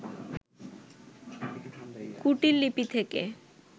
কুটীল লিপি থেকে